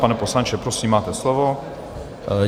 Pane poslanče, prosím, máte slovo.